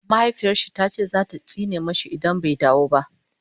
mahaifiyarshi tace zata tsine mashi idan bai dawo ba